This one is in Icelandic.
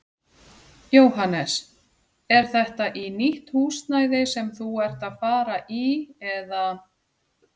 Jóhannes: Er þetta í nýtt húsnæði sem þú ert að fara í eða?